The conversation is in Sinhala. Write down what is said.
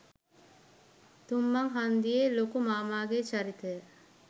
තුංමංහන්දියේ ලොකු මාමා ගේ චරිතය